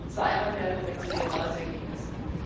Ich habe zwei Anmerkungen zu den Ratsergebnissen.